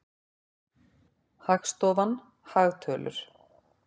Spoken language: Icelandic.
Hagstofan- hagtölur.